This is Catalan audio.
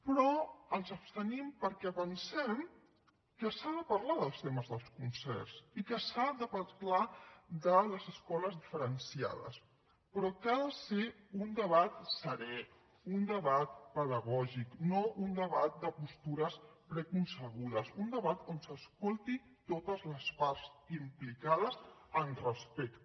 però ens abstenim perquè pensem que s’ha de parlar dels temes dels concerts i que s’ha de parlar de les escoles diferenciades però que ha de ser un debat serè un debat pedagògic no un debat de postures preconcebudes un debat on s’escoltin totes les parts implicades amb respecte